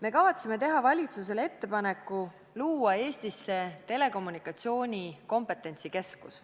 Me kavatseme teha valitsusele ettepaneku luua Eestisse telekommunikatsiooni kompetentsikeskus,